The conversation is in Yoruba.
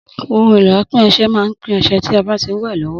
Ohun èlò apín ọsẹ má n pín ọsẹ tí a bá ti ń wè lówó